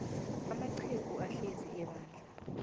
amaqhegu ahlezi ebandla